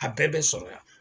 A bɛɛ bɛ sɔrɔ yan